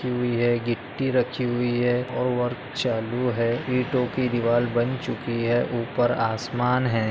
गिट्टी रखी हुई है और वर्क चालू है इटो की दीवार बन चुकी है उपर आसमान है।